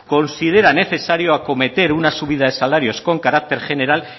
considera necesario acometer una subida de salarios con carácter general